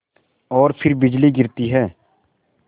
और फिर बिजली गिरती है